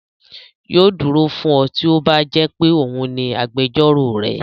Yóò dúró fún ọ tí ó bá jẹ́ pé òun ní agbẹjọ́rò rẹ.